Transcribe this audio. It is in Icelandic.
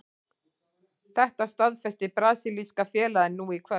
Þetta staðfesti brasilíska félagið nú í kvöld.